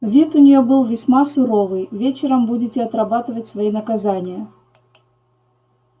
вид у неё был весьма суровый вечером будете отрабатывать свои наказания